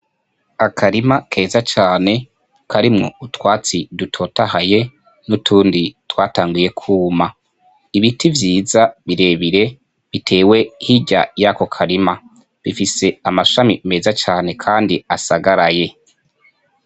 Akarima keza cane kirimwo utwatsi dutotahaye n'utundi twatanguye kuma, ibiti vyiza birebire bitewe hirya yako karima, bifise amashami meza cane kandi asagaraye.